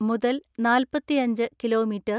മുതൽ നാല്പത്തിഅഞ്ച് kilo metre